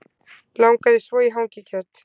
Langaði svo í hangikjöt